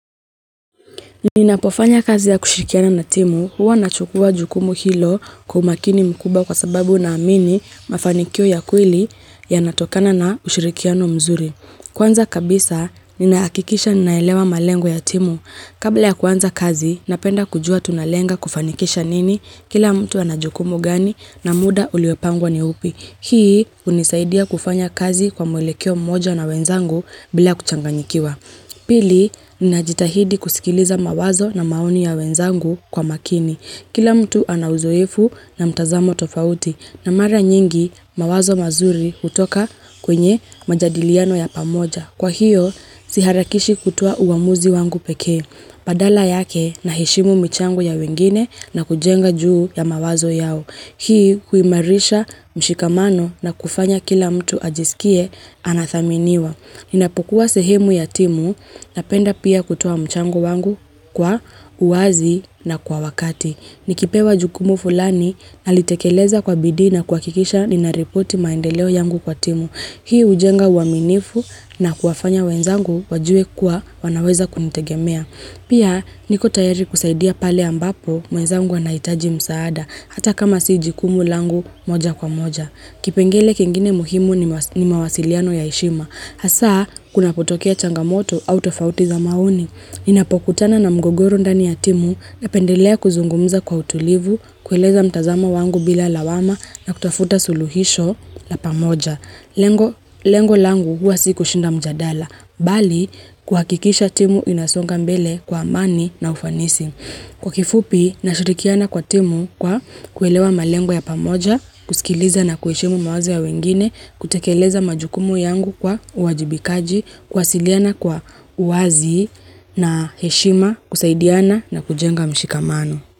Ninapofanya kazi ya kushirikiana na timu huwa nachukua jukumu hilo kwa umakini mkubwa kwa sababu naamini mafanikio ya kweli yanatokana na ushirikiano mzuri. Kwanza kabisa ninaakikisha ninaelewa malengo ya timu. Kabla ya kwanza kazi napenda kujua tunalenga kufanikisha nini kila mtu anajukumu gani na muda uliyopangwa ni upi. Hii hunisaidia kufanya kazi kwa mwelekeo mmoja na wenzangu bila kuchanganyikiwa. Pili, ninajitahidi kusikiliza mawazo na maoni ya wenzangu kwa makini. Kila mtu ana uzoefu na mtazamo tofauti na mara nyingi mawazo mazuri hutoka kwenye majadiliano ya pamoja. Kwa hiyo, si harakishi kutoa uwamuzi wangu peke. Badala yake na heshimu michango ya wengine na kujenga juu ya mawazo yao. Hii huimarisha mshikamano na kufanya kila mtu ajisikie anathaminiwa. Ninapokuwa sehemu ya timu napenda pia kutoa mchango wangu kwa uwazi na kwa wakati. Nikipewa jukumu fulani nalitekeleza kwa bidii na kuwakikisha ninaripoti maendeleo yangu kwa timu. Hii ujenga uwaminifu na kuwafanya wenzangu wajue kuwa wanaweza kunitegemea. Pia niko tayari kusaidia pale ambapo mwenzangu wanaitaji msaada hata kama si jukumu langu moja kwa moja. Kipengele kengine muhimu ni mawasiliano ya heshima. Hasa, kunapotokea changamoto au tofauti za maoni. Ninapokutana na mgogoro ndani ya timu napendelea kuzungumza kwa utulivu, kueleza mtazamo wangu bila lawama na kutafuta suluhisho la pamoja. Lengo langu huwa si kushinda mjadala, bali kuhakikisha timu inasonga mbele kwa amani na ufanisi. Kwa kifupi, nashirikiana kwa timu kwa kuelewa malengo ya pamoja, kusikiliza na kuheshimu mawazo ya wengine, kutekeleza majukumu yangu kwa uwajibikaji, kuwasiliana kwa uwazi na heshima, kusaidiana na kujenga mshikamano.